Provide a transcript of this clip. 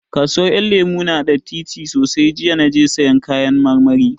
Kasuwar Ƴan Lemu ya na da datti sosai, jiya na je sayan kayan marmari